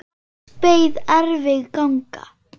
Hans beið erfið ganga.